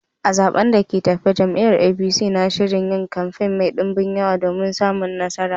A zaɓen da ke tafe, jam’iyyar APC na shirin yin kamfe mai dumbin yawa domin samun nasara